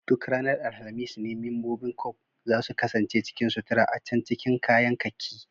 Duk ranar alhamis ne membobin Corp za su kasance cikin sutura a can cikin kayan kakki